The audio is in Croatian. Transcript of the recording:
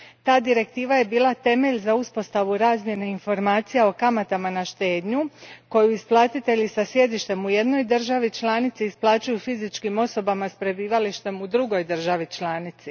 Ta Direktiva je bila temelj za uspostavu razmjene informacija o kamatama na štednju koju isplatitelji sa sjedištem u jednoj državi članici isplaćuju fizičkim osobama s prebivalištem u drugoj državi članici.